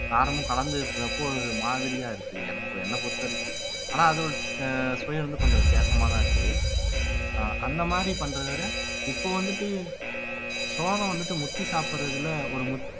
காரமும் கலந்து இருக்கிறப்போ ஒரு மாதிரியா இருக்குது எனக்கு இப்போ என்னை பொறுத்தவரைக்கும் ஆனா அது ஒரு அஹ் சுவை வந்து கொஞ்சம் வித்தியாசமாதான் இருக்குது ஆஹ் அந்த மாதிரி பண்றதை விட இப்போ வந்துட்டு சோளம் வந்துட்டு முத்தி சாப்பிடுறதுல ஒரு முத்